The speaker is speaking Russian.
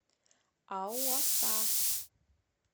ауаса